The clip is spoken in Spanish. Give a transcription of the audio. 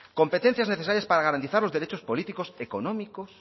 competencias necesarias para garantizar los derechos políticos económicos